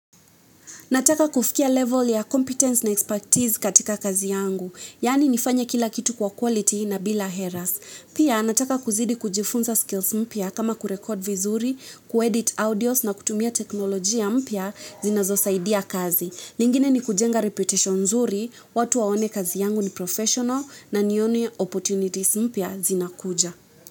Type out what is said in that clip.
Nataka kufikia level ya competence na expertise katika kazi yangu, yaani nifanye kila kitu kwa quality na bila errors. Pia nataka kuzidi kujifunza skills mpya kama kurekod vizuri, kuedit audios na kutumia teknolojia mpya zinazo saidia kazi. Lingine ni kujenga reputation nzuri, watu waone kazi yangu ni professional na nione opportunities mpya zinakuja.